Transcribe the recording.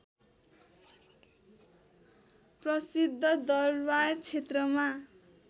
प्रसिद्ध दरवार क्षेत्रमा